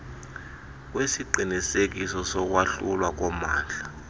kwesiqinisekiso sokwahlulwa kommandla